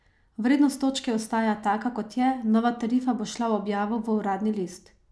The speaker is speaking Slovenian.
Vrednost točke ostaja taka, kot je, nova tarifa bo šla v objavo v uradni list.